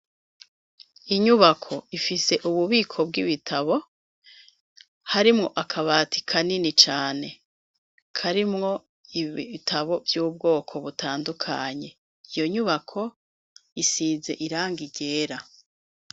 Inyubako, ifise ububiko bw'ibitabo, harimwo akabati kanini cane; karimwo ibitabo vy'ubwoko butandukanye; iyo nyubako, isize irangi ryera.